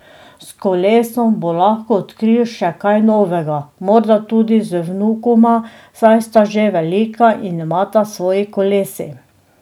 S kolesom bo lahko odkril še kaj novega, morda tudi z vnukoma, saj sta že velika in imata svoji kolesi.